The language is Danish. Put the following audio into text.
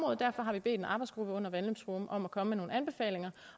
og derfor har vi bedt en arbejdsgruppe under vandløbsforum om at komme med nogle anbefalinger